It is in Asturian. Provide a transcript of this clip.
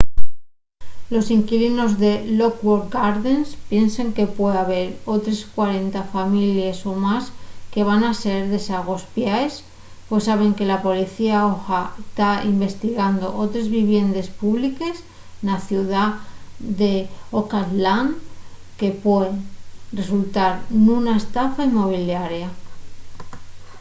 los inquilinos en lockwood gardens piensen que pue haber otres 40 families o más que van ser desagospiaes pos saben que la policía oha ta investigando otres viviendes públiques na ciudá d’oakland que puen resultar nuna estafa inmobiliaria